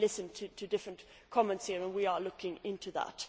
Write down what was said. I have been listening to different comments here, and we are looking into that.